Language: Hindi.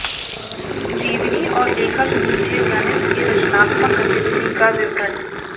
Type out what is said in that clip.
जीवनी और लेखक नीचे वर्णित के रचनात्मक गतिविधि का विवरण